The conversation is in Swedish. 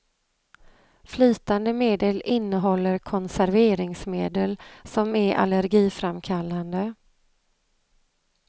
Flytande medel innehåller konserveringsmedel, som är allergiframkallande.